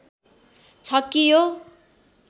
छ कि यो